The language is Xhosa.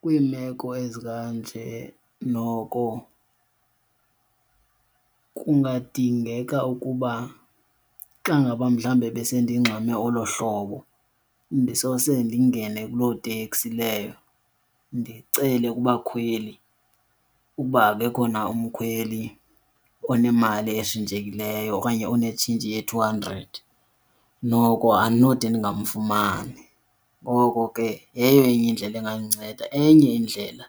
Kwiimeko ezikanje noko kungadingeka ukuba xa ngaba mhlawumbe besendingxame olo hlobo ndisose ndingene kuloo teksi leyo ndicele kubakhweli uba akekho na umkhweli onemali etshintshekileyo okanye onetshintshi ye-two hundred, noko andinode ndingamfumani. Ngoko ke yeyo enye indlela engandinceda. Enye indlela